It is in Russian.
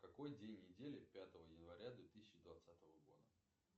какой день недели пятого января две тысячи двадцатого года